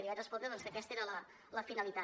i li vaig respondre que aquesta era la finalitat